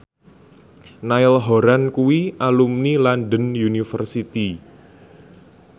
Niall Horran kuwi alumni London University